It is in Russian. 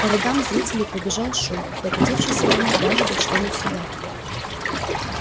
по рядам зрителей пробежал шум докатившийся волной даже до членов суда